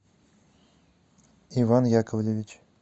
иван яковлевич